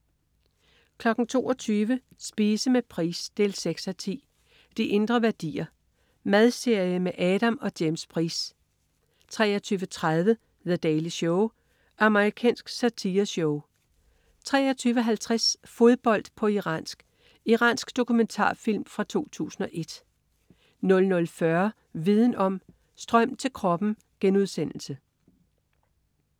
22.00 Spise med Price 6:10. "De Indre Værdier". Madserie med Adam og James Price 23.30 The Daily Show. Amerikansk satireshow 23.50 Fodbold på iransk. Iransk dokumentarfilm fra 2001 00.40 Viden om: Strøm til kroppen*